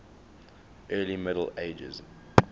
early middle ages